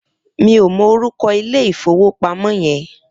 Mi ó mò órúkò ilé ifówópámò yèn